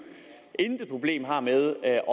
er